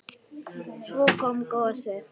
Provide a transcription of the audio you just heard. Svo kom gosið!